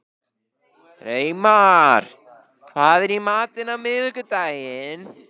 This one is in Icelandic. Reimar, hvað er í matinn á miðvikudaginn?